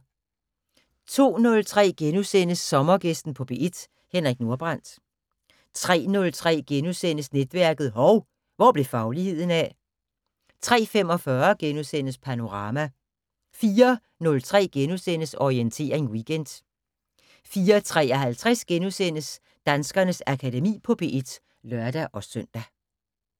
02:03: Sommergæsten på P1: Henrik Nordbrandt * 03:03: Netværket: Hov, hvor blev fagligheden af? * 03:45: Panorama * 04:03: Orientering Weekend * 04:53: Danskernes Akademi på P1 *(lør-søn)